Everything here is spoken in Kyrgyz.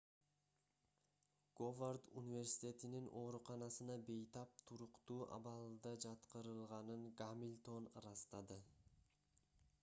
говард университетинин ооруканасына бейтап туруктуу абалда жаткырылганын гамильтон ырастады